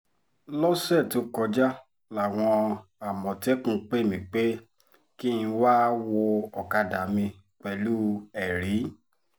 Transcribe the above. lọ́sẹ̀ tó kọjá làwọn àmọ̀tẹ́kùn pè mí pé kí n wáá wọ ọ̀kadà mi pẹ̀lú ẹ̀rí